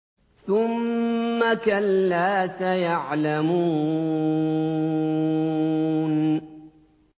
ثُمَّ كَلَّا سَيَعْلَمُونَ